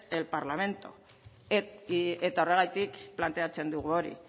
el parlamento eta horregatik planteatzen dugu hori